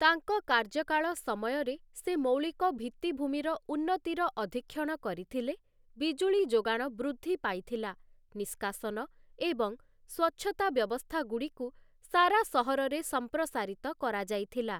ତାଙ୍କ କାର୍ଯ୍ୟକାଳ ସମୟରେ ସେ ମୌଳିକ ଭିତ୍ତିଭୂମିର ଉନ୍ନତିର ଅଧୀକ୍ଷଣ କରିଥିଲେ: ବିଜୁଳି ଯୋଗାଣ ବୃଦ୍ଧି ପାଇଥିଲା, ନିଷ୍କାସନ ଏବଂ ସ୍ୱଚ୍ଛତା ବ୍ୟବସ୍ଥାଗୁଡ଼ିକୁ ସାରା ସହରରେ ସମ୍ପ୍ରସାରିତ କରାଯାଇଥିଲା ।